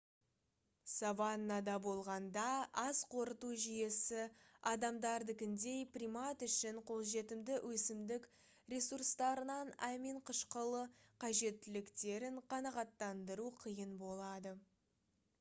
саваннада болғанда ас қорыту жүйесі адамдардыкіндей примат үшін қолжетімді өсімдік ресурстарынан амин қышқылы қажеттіліктерін қанағаттандыру қиын болады